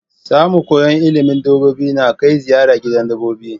Samu koyan ilimin dabbobi na Kai ziyara gidan dabbobi